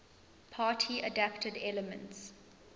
party adapted elements